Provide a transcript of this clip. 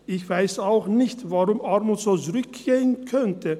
Ich weiss auch nicht, warum Armut so zurückgehen könnte.